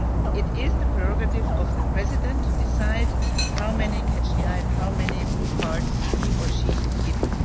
It is the prerogative of the President to decide how many catch the eyes and how many blue cards he or she gives.